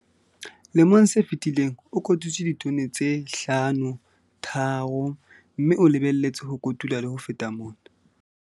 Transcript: Lemong se fetileng, o kotutse ditone tse 5,3, mme o lebelletse ho kotula le ho feta mona.